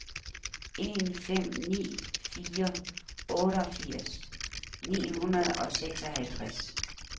en fem ni fire otteogfirs ni hundrede og seksoghalvtreds